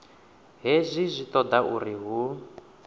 hezwi zwi toda uri hu